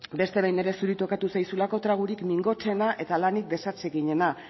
beste behin ere zuri tokatu zaizulako tragorik mingotsena eta lanik desatseginena